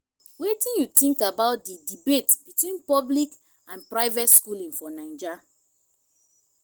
wetin you think about di debate between public and private schooling for naija?